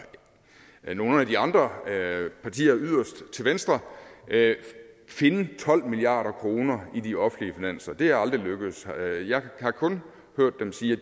nogle af de andre partier yderst til venstre finde tolv milliard kroner i de offentlige finanser det er aldrig lykkedes jeg har kun hørt dem sige